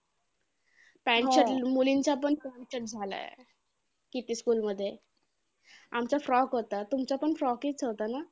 Pant shirt मुलींचा पण Pant shirt झालाय. किती school मध्ये आमचा frock होता. तुमचा पण frock चं होता ना?